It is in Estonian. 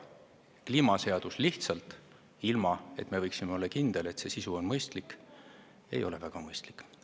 Kliimaseadus, ilma et me võiksime olla kindel, et selle sisu on mõistlik, ei ole väga mõistlik.